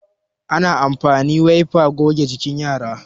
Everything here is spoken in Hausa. ana amfani wiper goge jikin yara